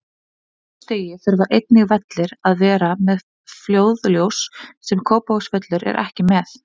Á þessu stigi þurfa einnig vellir að vera með flóðljós, sem Kópavogsvöllur er ekki með.